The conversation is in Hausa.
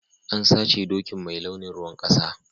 An sace dokin mai launin ruwan kasa.